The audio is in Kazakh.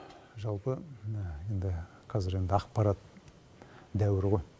жалпы енді қазір енді ақпарат дәуірі ғой